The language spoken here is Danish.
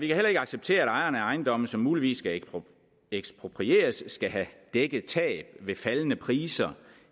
kan heller ikke acceptere at ejerne af ejendomme som muligvis skal eksproprieres skal have dækket tab ved faldende priser